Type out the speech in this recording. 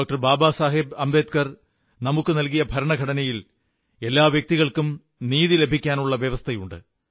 ബാബാസാഹബ് അംബേദ്്കർ നമുക്കു നൽകിയ ഭരണഘടനയിൽ എല്ലാ വ്യക്തികൾക്കും നീതി ലഭിക്കാനുള്ള വ്യവസ്ഥകളുണ്ട്